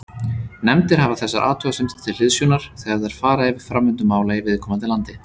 Nefndir hafa þessar athugasemdir til hliðsjónar þegar þær fara yfir framvindu mála í viðkomandi landi.